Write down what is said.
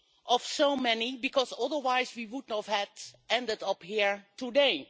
of so many, because otherwise we would not have ended up here today.